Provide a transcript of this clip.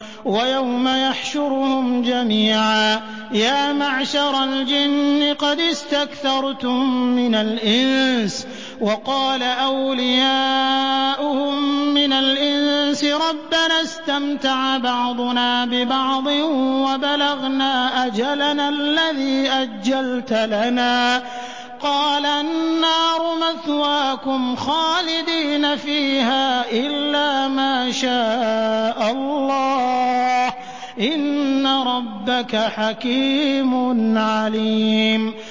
وَيَوْمَ يَحْشُرُهُمْ جَمِيعًا يَا مَعْشَرَ الْجِنِّ قَدِ اسْتَكْثَرْتُم مِّنَ الْإِنسِ ۖ وَقَالَ أَوْلِيَاؤُهُم مِّنَ الْإِنسِ رَبَّنَا اسْتَمْتَعَ بَعْضُنَا بِبَعْضٍ وَبَلَغْنَا أَجَلَنَا الَّذِي أَجَّلْتَ لَنَا ۚ قَالَ النَّارُ مَثْوَاكُمْ خَالِدِينَ فِيهَا إِلَّا مَا شَاءَ اللَّهُ ۗ إِنَّ رَبَّكَ حَكِيمٌ عَلِيمٌ